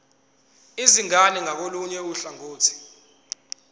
izingane ngakolunye uhlangothi